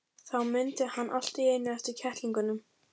Þá mundi hann allt í einu eftir kettlingunum.